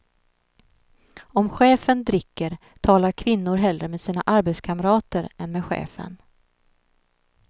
Om chefen dricker talar kvinnor hellre med sina arbetskamrater än med chefen.